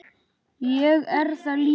Ég er það líka.